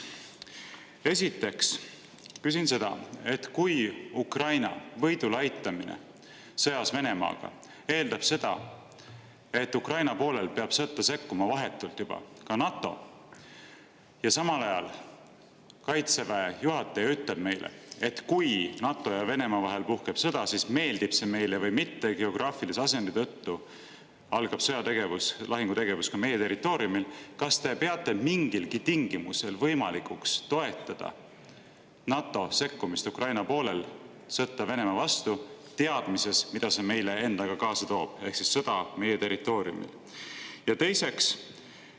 Esiteks küsin seda, et kui Ukraina võidule aitamine sõjas Venemaaga eeldab seda, et Ukraina poolel peab sekkuma vahetult juba ka NATO, ja samal ajal Kaitseväe juhataja ütleb meile, et kui NATO ja Venemaa vahel puhkeb sõda, siis meeldib see meile või mitte, geograafilise asendi tõttu algab sõjategevus, lahingutegevus ka meie territooriumil, kas te peate mingilgi tingimusel võimalikuks toetada NATO sekkumist Ukraina poolel sõtta Venemaa vastu, teades, mida see endaga kaasa toob, sõja meie territooriumil?